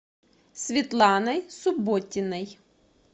светланой субботиной